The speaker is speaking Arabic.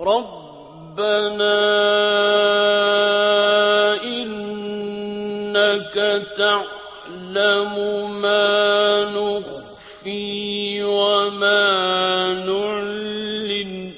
رَبَّنَا إِنَّكَ تَعْلَمُ مَا نُخْفِي وَمَا نُعْلِنُ ۗ